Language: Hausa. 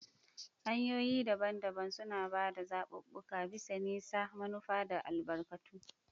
Hanyoyi daban-daban suna ba da zaɓuɓɓuka bisa nisa, manufa, da albarkatu.